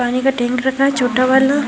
पानी का टैंक रखा है छोटा वाला।